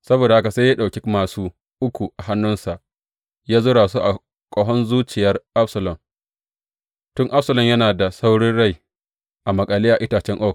Saboda haka sai ya ɗauki māsu uku a hannunsa ya zura su a ƙahon zuciyar Absalom, tun Absalom yana da sauran rai a maƙale a itacen oak.